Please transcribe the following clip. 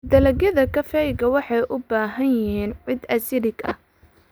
Dalagyada kafeega waxay u baahan yihiin ciid acidic ah.